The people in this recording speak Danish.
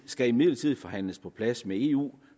skal imidlertid forhandles på plads med eu